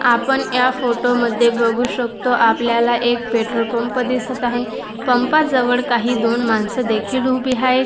आपण या फोटो मध्ये बघू शकतो आपल्याला एक पेट्रोल पंप दिसत आहे पांपा जवळ काही दोन माणसं देखील उभी हायेत.